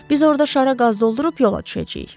Biz orda şara qaz doldurub yola düşəcəyik.